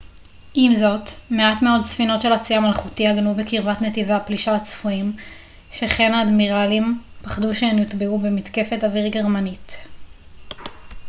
עם זאת מעט מאוד ספינות של הצי המלכותי עגנו בקרבת נתיבי הפלישה הצפויים שכן האדמירלים פחדו שהן יוטבעו במתקפת אוויר גרמנית